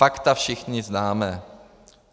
Fakta všichni známe.